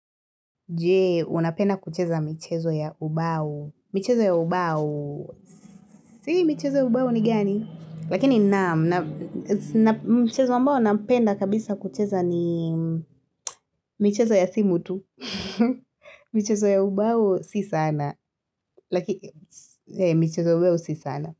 Jee, unapenda kucheza michezo ya ubao. Michezo ya ubao, si michezo ya ubao ni gani? Lakini naam, michezo ambao napenda kabisa kucheza ni michezo ya simu tu. Michezo ya ubao, si sana. Lakini, michezo ya ubao, si sana.